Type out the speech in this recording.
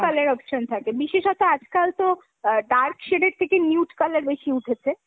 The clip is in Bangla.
: colour option থাকে। বিশেষতঃ আজকাল তো আ dark shade এর থেকে nude color বেশি উঠেছে।